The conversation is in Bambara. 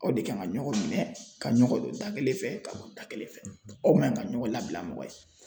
Aw de kan ka ɲɔgɔn minɛ ka ɲɔgɔn don dakelen fɛ ka bɔ da kelen fɛ aw man ka ɲɔgɔn labila mɔgɔ ye .